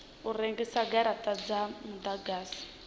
u rengisa garata dza mudagasi